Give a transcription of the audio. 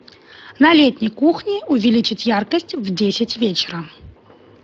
на летней кухне увеличить яркость в десять вечера